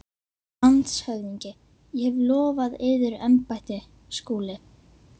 LANDSHÖFÐINGI: Ég hef lofað yður embætti, Skúli.